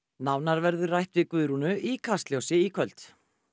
nánar verður rætt við Guðrúnu í Kastljósi í kvöld